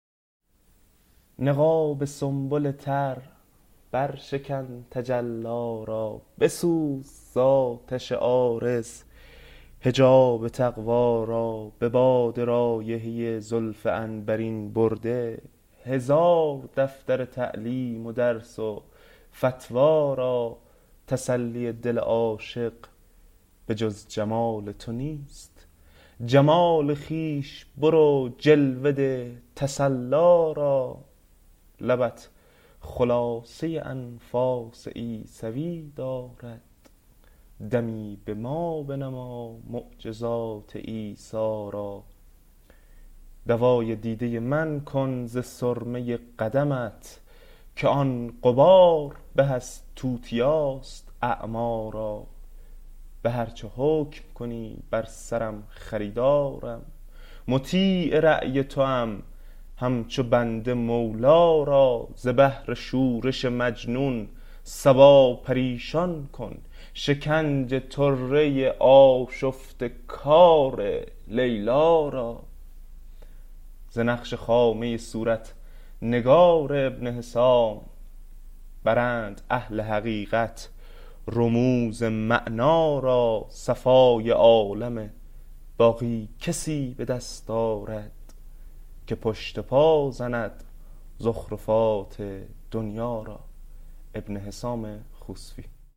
نقاب سنبل تر برشکن تجلی را بسوز زآتش عارض حجاب تقوی را به باد رایحه زلف عنبرین برده هزار دفتر تعلیم و درس و فتوی را تسلی دل عاشق به جز جمال تو نیست جمال خویش برو جلوه ده تسلی را لبت خلاصه انفاس عیسوی دارد دمی به ما بنما معجزات عیسی را دوای دیده من کن ز سرمه قدمت که آن غبار به از توتیاست اعمی را به هر چه حکم کنی بر سرم خریدارم مطیع رای توام همچو بنده مولی را ز بهر شورش مجنون صبا پریشان کن شکنج طره آشفته کار لیلی را ز نقش خامه صورت نگار ابن حسام برند اهل حقایق رموز معنی را صفای عالم باقی کسی به دست آرد که پشت پای زند زخرفات دنیی را